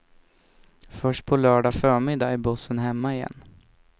Först på lördag förmiddag är bussen hemma igen.